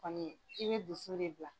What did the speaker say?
Ani i bɛ dusu de bila.